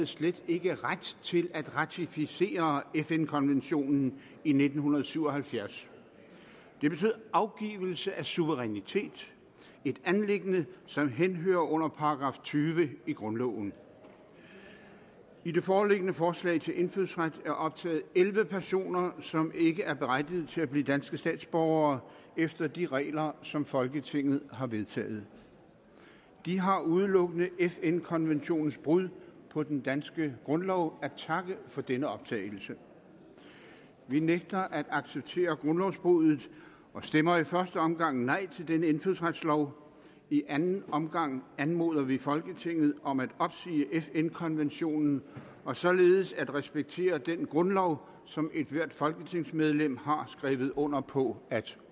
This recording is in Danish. slet ikke havde ret til at ratificere fn konventionen i nitten syv og halvfjerds det betød afgivelse af suverænitet et anliggende som henhører under § tyve i grundloven i det foreliggende forslag til indfødsret er optaget elleve personer som ikke er berettigede til at blive danske statsborgere efter de regler som folketinget har vedtaget de har udelukkende fn konventionens brud på den danske grundlov at takke for denne optagelse vi nægter at acceptere grundlovsbruddet og stemmer i første omgang nej til denne indfødsretslov i anden omgang anmoder vi folketinget om at opsige fn konventionen og således at respektere den grundlov som ethvert folketingsmedlem har skrevet under på at